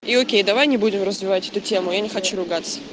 и окей давай не будем развивать эту тему я не хочу ругаться